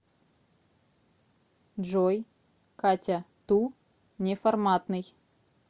джой катя ту неформатный